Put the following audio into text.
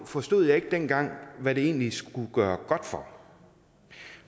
forstod jeg ikke dengang hvad det egentlig skulle gøre godt for